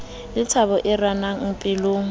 le thabo e renang pelong